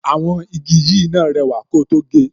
Àwọn igi yìí náà rẹwà ko tó ge